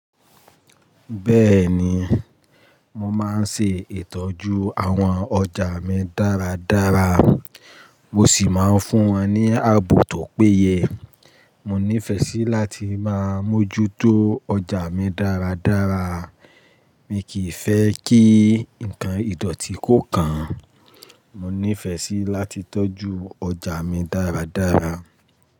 Bẹ́ẹ̀ni, mo máa ń ṣe ìtọ́jú àwọn ọjà mi dáradára, mo sì máa ń fún wọn ní ààbò tó péye. Mo nífẹ́ sí láti máa mójútó ọjà mi dáradára. Mi kì í fẹ́ kí nǹkan ìdọ̀tí kó kàn. Mo nífẹ́ sí láti tọ́jú ọjà mi dáradára.